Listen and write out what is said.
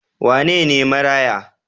Wane ne maraya?